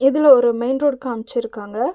இதுல ஒரு main road காம்ச்சிருக்காங்க.